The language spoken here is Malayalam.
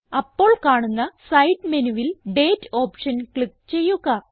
അപ്പോൾ കാണുന്ന സൈഡ് മെനുവിൽ ഡേറ്റ് ഓപ്ഷൻ ക്ലിക്ക് ചെയ്യുക